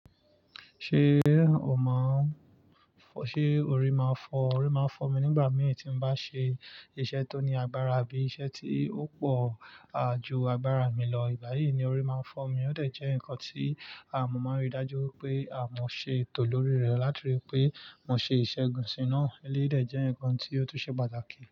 Ṣé o mọ̀ ọ́n, ṣe orí máa ń fọ́? Orí máa ń fọ́ mi nígbà mìíràn tí mo bá ṣe iṣẹ́ tó ní agbára abí i iṣẹ́ tí ó pọ̀ ju agbára mi lọ. Ìgbayi ni orí máa ń fọ́ mi, o de jẹ́ nǹkan tí mo máa ń rí i dájú pé a mo ṣe ètò lórí rẹ, láti rí i pé mo ṣe iṣẹ́gun si náà. Eleyi dẹ̀ jẹ́ nǹkan tí ó tún ṣe pàtàkì.